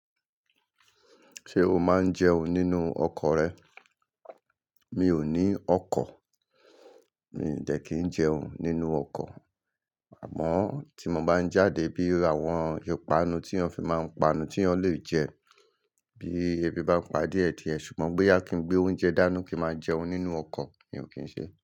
Ṣé o máa ń jẹun nínú ọkọ̀ rẹ? Mi ò ní ọkọ̀, mi ò dẹ̀ kí ń jẹun nínú ọkọ̀. Àmọ́ tí mo bá ń jáde bí àwọn ìpanu tí eyan fi máa ń panu tí eyan lè jẹ, bí ebi bá ń padé die die ṣùgbọ́n bóyá kí n gbé oúnjẹ dáni kí máa jẹun nínú ọkọ̀, mi ò kín ṣe.